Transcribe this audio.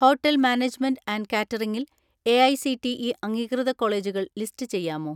"Hotel management and കാറ്ററിംഗിൽ AICTE അംഗീകൃത കോളേജുകൾ ലിസ്റ്റ് ചെയ്യാമോ?"